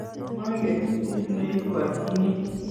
manget kiit ne ibwotyini